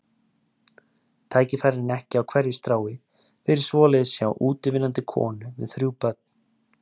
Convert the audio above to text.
Tækifærin ekki á hverju strái fyrir svoleiðis hjá útivinnandi konu með þrjú börn.